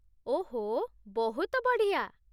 ଓଃ, ବହୁତ ବଢ଼ିଆ !